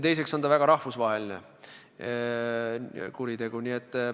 Teiseks on see väga rahvusvaheline kuritegu.